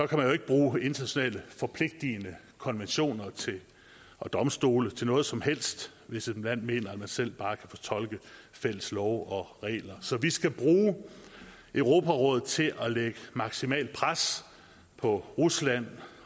kan jo ikke bruge internationalt forpligtigende konventioner og domstole til noget som helst hvis et land mener at de selv bare kan fortolke fælles love og regler så vi skal bruge europarådet til at lægge maksimalt pres på rusland